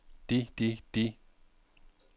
de de de